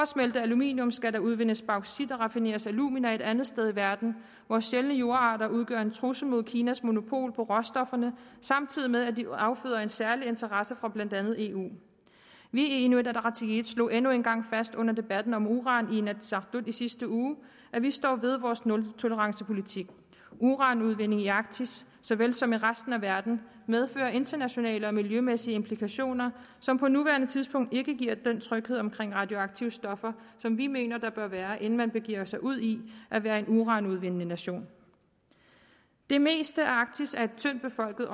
smelte aluminium skal der udvindes bauxit og raffineres alumina et andet sted i verden vores sjældne jordarter udgør en trussel mod kinas monopol på råstofferne samtidig med at de afføder en særlig interesse fra blandt andet eu vi i inuit ataqatigiit slog endnu en gang fast under debatten om uran i inatsisartut i sidste uge at vi står ved vores nultolerancepolitik uranudvinding i arktis så vel som i resten af verden medfører internationale og miljømæssige implikationer som på nuværende tidspunkt ikke giver den tryghed omkring radioaktive stoffer som vi mener der bør være inden man begiver sig ud i at være en uranudvindende nation det meste af arktis er tyndt befolket